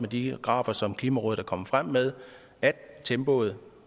de grafer som klimarådet er kommet frem med at tempoet